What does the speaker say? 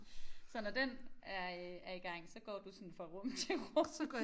Så når den er øh er i gang så går du sådan fra rum til rum